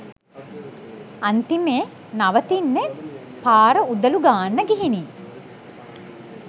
අන්තිමේ නවතින්නෙ පාර උදලු ගාන්න ගිහිනි.